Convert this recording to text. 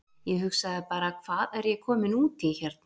Ég hugsaði bara: Hvað er ég kominn út í hérna?